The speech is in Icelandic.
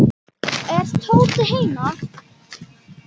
Er Tóti heima?